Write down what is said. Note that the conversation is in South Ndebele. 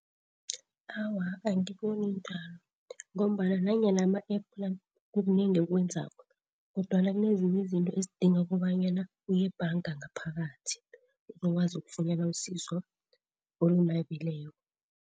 Awa, angiboni njalo ngombana nanyana ama-App la kukunengi akwenzako kodwana kunezinye izinto ezidinga kobanyana uyebhanga ngaphakathi, uzokwazi ukufunyana usizo olunabileko.